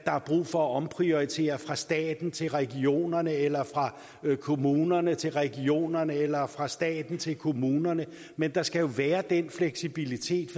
er brug for at omprioritere fra staten til regionerne eller fra kommunerne til regionerne eller fra staten til kommunerne men der skal være den fleksibilitet